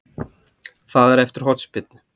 Það er eftir hornspyrnu.